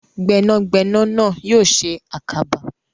Gbẹ́nàgbẹnà náà yóò ṣe àkàbà.